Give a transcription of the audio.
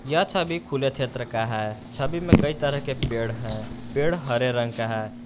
यह छवि खुले क्षेत्र का है छवि में कई तरह के पेड़ है पेड़ हरे रंग का है।